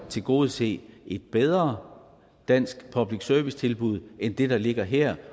tilgodese et bedre dansk public service tilbud end det der ligger her